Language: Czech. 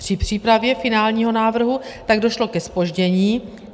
Při přípravě finálního návrhu tak došlo ke zpoždění.